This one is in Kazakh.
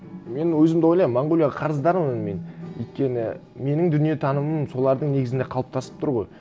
мен өзім де ойлаймын монғолияға қарыздармын мен өйткені менің дүниетанымым солардың негізінде қалыптасып тұр ғой